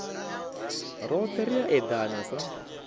rothe ri a edana sa